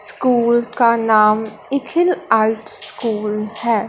School का नाम इखिल आर्ट स्कूल है।